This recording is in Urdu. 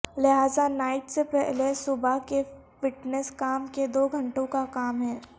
لہذا نائٹ سے پہلے صبح کے فٹنس کام کے دو گھنٹوں کا کام ہے